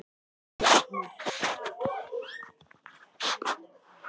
Upp til agna.